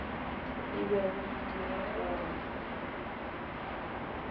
e bego e dira gore